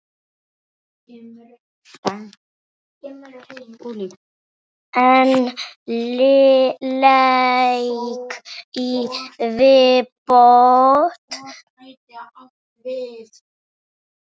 Einn leik í viðbót.